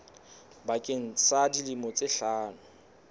bakeng sa dilemo tse hlano